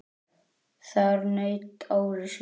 Þar naut Ari sín.